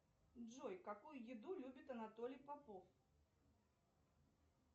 джой какую еду любит анатолий попов